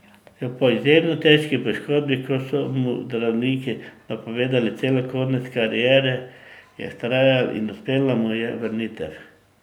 Po izjemno težki poškodbi, ko so mu zdravniki napovedali celo konec kariere, je vztrajal in uspela mu je vrnitev.